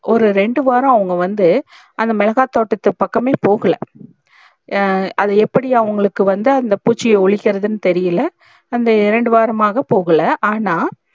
ஒரு இரண்டு வாரம் அவுங்க வந்து அந்த மிளகாய் தோட்டம் பக்கமே போகல ஹம் அத எப்டி அவுங்களுக்கு வந்து அந்த பூச்சியே ஒலிகிரதனு தெரில அந்த இரண்டு வாரம்மாக போகல ஆனால்